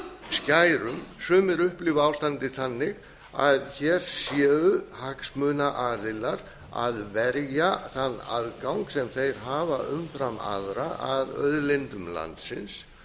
skærum sumir upplifa ástandið þannig að hér séu hagsmunaaðilar að verja þann aðgang sem þeir hafa umfram aðra að auðlindum landsins